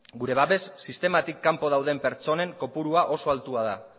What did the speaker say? gure babes sistematik kanpo dauden pertsonen kopuru oso altua da